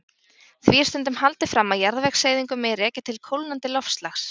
Því er stundum haldið fram að jarðvegseyðingu megi rekja til kólnandi loftslags.